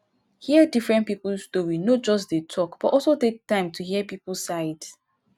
hear different pipo story no just dey talk but also take time hear pipo side